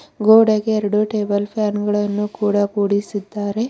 ಗೋಡೆಗೆ ಎರಡು table fan ಗಳನ್ನು ಕೂಡ ಕೊಡಿಸುತ್ತಾರೆ.